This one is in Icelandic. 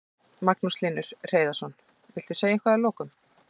Magnús Hlynur Hreiðarsson: Viltu segja eitthvað að lokum?